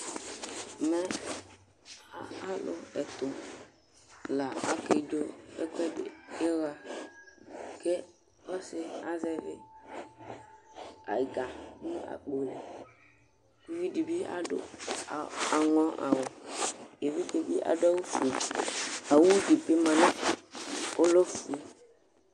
Mɛ alʋ ɛtʋ la kedzo ɛkʋɛdɩ, ɩɣa kʋ ɔsɩ azɛvɩ ɛga nʋ akpo li kʋ uvi dɩ bɩ adʋ aŋɔ awʋ Evidze bɩ adʋ awʋfue Awu dɩ bɩ ma, ɔlɛ ofue